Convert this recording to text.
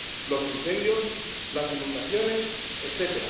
los incendios, las inundaciones, etc.